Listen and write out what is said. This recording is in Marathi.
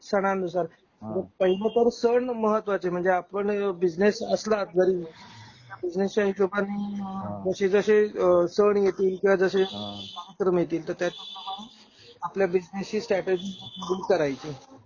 सणानुसार सण महत्वाचे. म्हणजे आपण बिजनेस असला जरी बिजनेसच्या हिशोबानी अ जशे जशे सण येतील किंवा जशे हां कार्यक्रम येतील, तर हिशोबानी आपल्या बिजनेसची स्ट्रॅटेजि बुक करायची